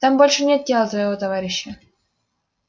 там больше нет тела твоего товарища